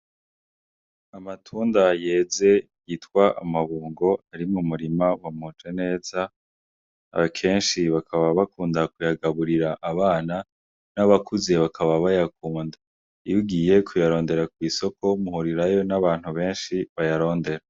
Amatunda yeze yitwa amabungo ari mu murima wa Mujeneza kenshi bakaba bakunda kuyagaburira abana n'abakuze bakaba bayakunda, iyugiye kuyarondera kw'isoko muhirirayo n'abantu benshi bayarondera.